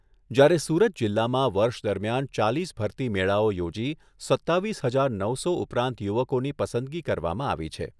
જ્યારે સુરત જિલ્લામાં વર્ષ દરમિયાન ચાલીસ ભરતી મેળાઓ યોજી સત્તાવીસ હજાર નવસો ઉપરાંત યુવકોની પસંદગી કરવામાં આવી છે.